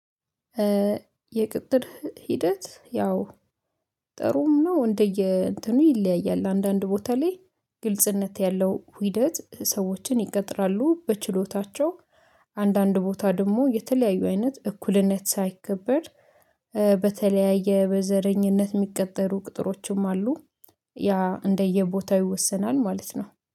የቅጥር ሂደት ያው ጥሩም ነው እንደየ እንትኑ ይለያያል። አንዳንድ ቦታ ላይ ግልጽነት ያለው ሂደት ሰዎችን ይቀጥራሉ በችሎታቸው። አንዳንድ ቦታ ደግሞ የተለያዩ አይነት እኩልነት ሳይከበር በተለያየ በዘረኝነት እሚቀጠሩ ቅጥሮችም አሉ። ያ እንደየቦታው ይወሰናል ማለት ነው